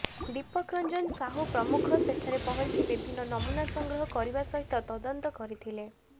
ଦୀପକ ରଞ୍ଜନ ସାହୁ ପ୍ରମୁଖ ସେଠାରେ ପହଞ୍ଚି ବିଭିନ୍ନ ନମୁନା ସଂଗ୍ରହ କରିବା ସହିତ ତଦନ୍ତ କରିଥିଲେ